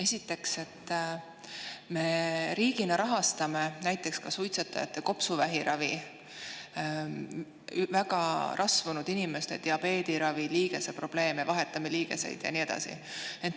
Esiteks, me riigina rahastame ka näiteks suitsetajate kopsuvähiravi, väga rasvunud inimeste diabeediravi ja liigeseprobleemide ravi, vahetame liigeseid ja nii edasi.